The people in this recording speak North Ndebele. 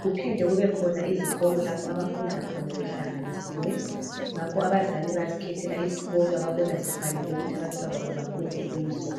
kuphinda kubekhona izikolo lapho abafunda khona behlanganisiwe abazali bayazikhethela isikolo ababona sifanele abantwababo bafunde kiso